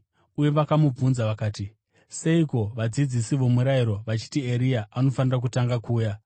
Uye vakamubvunza vakati, “Seiko vadzidzisi vomurayiro vachiti Eria anofanira kutanga kuuya?”